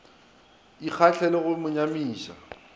ikgalale le go mo nyamiša